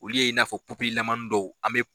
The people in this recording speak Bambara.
Olu ye i n'a fɔ dɔw an bɛ